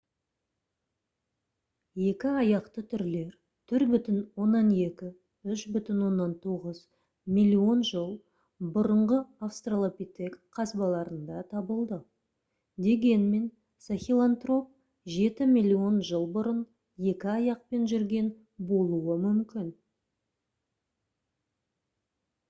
екі аяқты түрлер 4,2 - 3,9 миллион жыл бұрынғы австралопитек қазбаларында табылды дегенмен сахелантроп жеті миллион жыл бұрын екі аяқпен жүрген болуы мүмкін